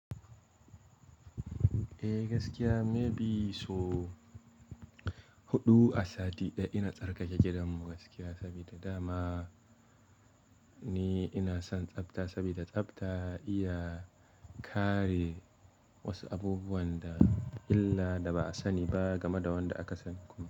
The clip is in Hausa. Eh gaskiya maybe so huɗu a sati ɗaya, ina tsarkake gidanmu gaskiya, sabida dama ni ina son tsabta sabida tsabta iya kare wasu abubuwan da illa da ba a sani ba game da wanda aka sani kuma.